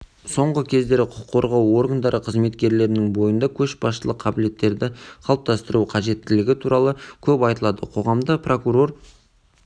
соңғы кездері құқық қорғау органдары қызметкерлерінің бойында көшбасшылық қабілеттерді қалыптастыру қажеттігі туралы көп айтылады қоғамда прокурор